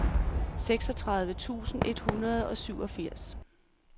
seksogtredive tusind et hundrede og syvogfirs